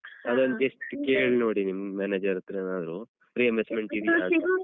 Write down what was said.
ಅದೊಂದ್ just ಕೇಳ್ನೋಡಿ ನಿಮ್ manager ಹತ್ರ ಏನಾದ್ರು reimbursement ಇದ್ಯಾ ಅಂತ.